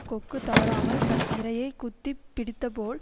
கொக்கு தவறாமல் தன் இரையைக் குத்தி பிடித்தபோல்